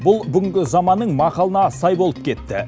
бұл бүгінгі заманның мақалына сай болып кетті